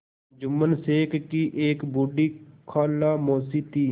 जुम्मन शेख की एक बूढ़ी खाला मौसी थी